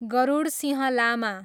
Garudsingh Lama